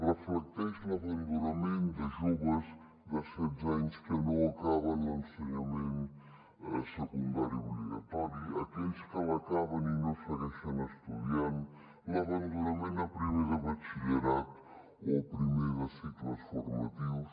reflecteix l’abandonament de joves de setze anys que no acaben l’ensenyament secundari obligatori aquells que l’acaben i no segueixen estudiant l’abandonament a primer de batxillerat o primer de cicles formatius